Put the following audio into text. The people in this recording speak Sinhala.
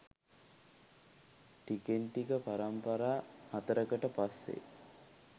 ටිකෙන් ටික පරම්පරා හතරකට පස්සේ